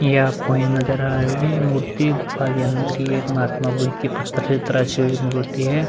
ये आपको नजर आ रही होगी मूर्ति गुफा के अंदर ये महात्मा बुद्ध की पत्थर से तरासी हुई मूर्ति है।